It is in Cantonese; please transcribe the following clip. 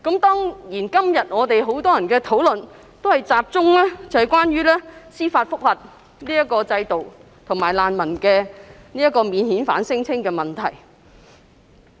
當然，今天很多議員的發言，都集中討論司法覆核制度和免遣返聲請的問題。